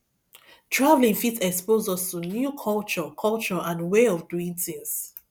travelling fit expose us to new culture culture and way of doing tins